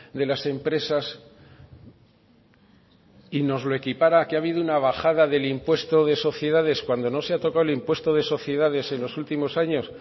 de las empresas y nos lo equipara a que ha habido una bajada del impuesto de sociedad cuando no se ha tocado el impuesto de sociedades en los últimos años